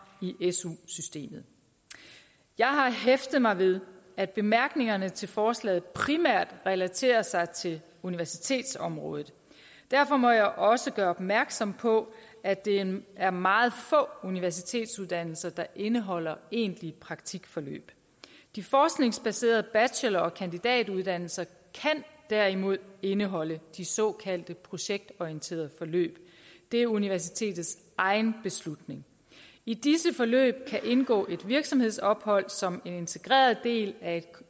i su systemet jeg har hæftet mig ved at bemærkningerne til forslaget primært relaterer sig til universitetsområdet derfor må jeg også gøre opmærksom på at det er meget få universitetsuddannelser der indeholder egentlige praktikforløb de forskningsbaserede bachelor og kandidatuddannelser kan derimod indeholde de såkaldte projektorienterede forløb det er universitetets egen beslutning i disse forløb kan indgå et virksomhedsophold som en integreret del af